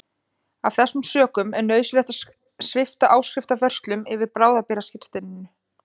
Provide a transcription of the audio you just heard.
Af þessum sökum er nauðsynlegt að svipta áskrifanda vörslum yfir bráðabirgðaskírteininu.